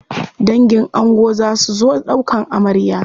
Dangin ango za su zo ɗaukan amarya.